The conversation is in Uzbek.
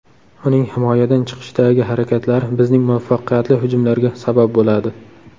Uning himoyadan chiqishdagi harakatlari bizning muvaffaqiyatli hujumlarga sabab bo‘ladi.